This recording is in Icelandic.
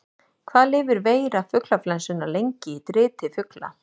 Hvað lifir veira fuglaflensunnar lengi í driti fugla?